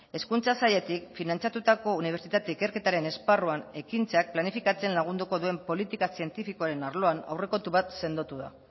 hezkuntza sailetik finantzatutako unibertsitate ikerketaren esparruan ekintzak planifikatzen lagunduko duen politika zientifikoaren arloan aurrekontu bat sendotu da